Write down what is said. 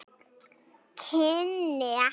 Kynni ekkert.